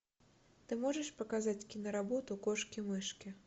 ты можешь показать киноработу кошки мышки